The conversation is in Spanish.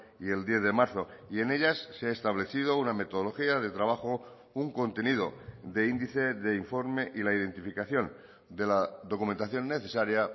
y el diez de marzo y en ellas se ha establecido una metodología de trabajo un contenido de índice de informe y la identificación de la documentación necesaria